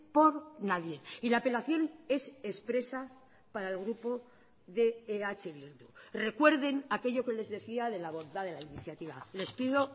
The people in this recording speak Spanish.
por nadie y la apelación es expresa para el grupo de eh bildu recuerden aquello que les decía de la bondad de la iniciativa les pido